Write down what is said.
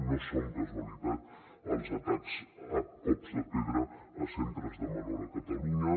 no són casualitat els atacs a cops de pedra a centres de menors a catalunya